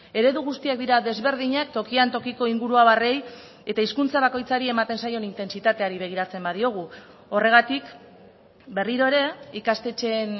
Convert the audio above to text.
eredu guztiak dira desberdinak tokian tokiko inguruabarrei eta hizkuntza bakoitzari ematen zaion intentsitateari begiratzen badiogu horregatik berriro ere ikastetxeen